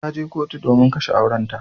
Ta je kotu domin a kashe aurenta.